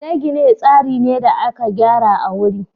gine-gine tsari ne da aka gyara a wuri